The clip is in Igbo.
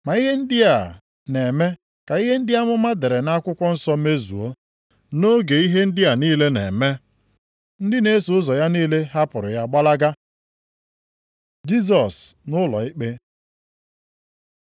Ma ihe ndị a na-eme ka ihe ndị amụma dere nʼakwụkwọ nsọ mezuo.” Nʼoge ihe ndị a niile na-eme, ndị na-eso ụzọ ya niile hapụrụ ya gbalaga. Jisọs nʼụlọikpe